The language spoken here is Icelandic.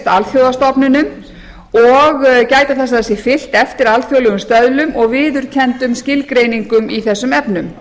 alþjóðastofnunum og gæta þess að því sé fylgt eftir alþjóðlegum stöðlum og viðurkenndum skilgreiningum í þessum efnum